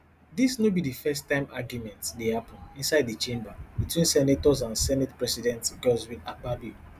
dis no be di first time argument dey happun inside di chamber betwen senators and senate president godswill akpabio